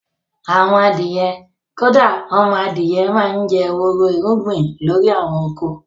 Àwọn adìyẹ, kódà ọmọ adìyẹ máa ń jẹ́ wóró irúgbìn lórí àwọn oko